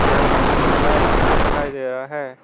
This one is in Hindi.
यहां हम लोग को चार इंसान दिखाई दे रहा है।